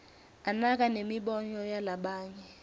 anaka nemibono yalabanye